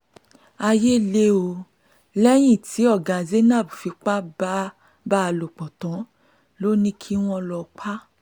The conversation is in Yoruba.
ayé le o lẹ́yìn tí ọ̀gá zainab fipá bá a lò pọ̀ tán ló ní kí wọ́n lọ́ọ pa á